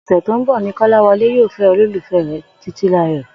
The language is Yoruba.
Ò̩sè̩ tó ń bò̩ ni Kó̩láwo̩lé yóò fé̩ olólùfé̩ rè̩ Títílayò̩